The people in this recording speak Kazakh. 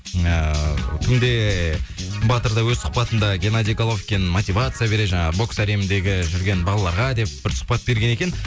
ыыы кімде еее батыр да өз сұхбатында геннадий головкин мотивация береді жаңағы бокс әлеміндегі жүрген балаларға деп бір сұхбат берген екен